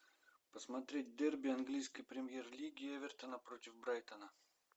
посмотреть дерби английской премьер лиги эвертона против брайтона